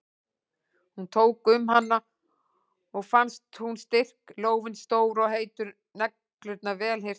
Hún tók um hana og fannst hún styrk, lófinn stór og heitur, neglurnar vel hirtar.